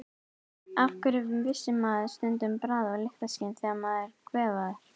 Af hverju missir maður stundum bragð- og lyktarskyn þegar maður er kvefaður?